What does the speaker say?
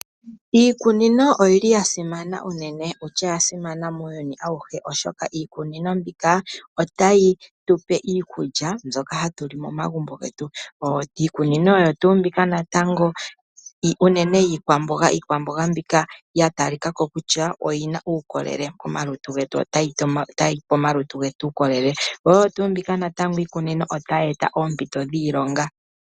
Iikunino oyili yasimana unene, okutya oya simana muuyuni awuhe oshoka iikunino mbika otayi tupe iikulya mbyoka hatuli momagumbo ngetu, iikunino oyo tu mbika natango unene yiikwambonga, iikwambonga mbika yatalikako kutya oyina ukolele komalutu ngetu , otayipe omalutu ngetu ukolele, yo oyo tu mbika natango iikunino otayi eta ompito dhilonga.